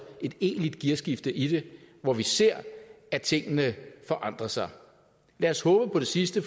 et egentligt gearskifte i det hvor vi ser at tingene forandrer sig lad os håbe på det sidste